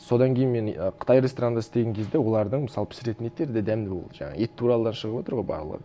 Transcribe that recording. содан кейін мен ы қытай ресторанында істеген кезде олардың мысалы пісіретін еттері де дәмді болды жаңағы ет туралы да шығыватыр ғой бағалар